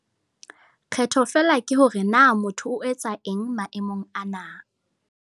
Kgetho feela ke hore na motho o etsa eng maemong ana.